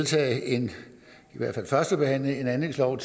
en førstebehandling af en anlægslov